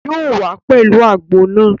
Yóò wá pẹ̀lú àgbo náà